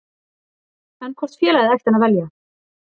En hvort félagið ætti hann að velja?